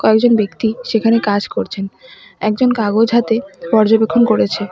কয়েকজন ব্যক্তি সেখানে কাজ করছেন একজন কাগজ হাতে পর্যবেক্ষণ করেছে।